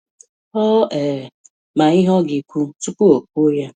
Ọ um ma ihe ọ ga-ekwu tupu o kwuo ya.